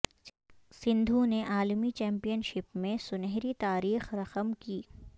سندھو نے عالمی championship میں سنہری تاریخ رقم کی